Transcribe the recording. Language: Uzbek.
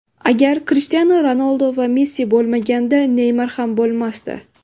Agar Krishtianu Ronaldu va Messi bo‘lmaganida, Neymar ham bo‘lmasdi.